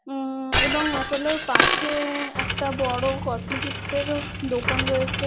উমম এবং অ্যাপেলো -র পাশে একটা বড় কসমেটিকস -এরও দোকান রয়েছে।